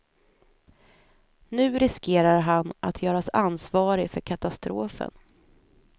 Nu riskerar han att göras ansvarig för katastrofen.